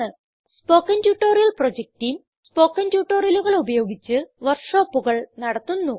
spoken tutorial project team spoken ട്യൂട്ടോറിയലുകൾ ഉപയോഗിച്ച് വർക്ക് ഷോപ്പുകൾ നടത്തുന്നു